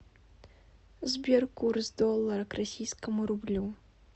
сбер курс доллара к российскому рублю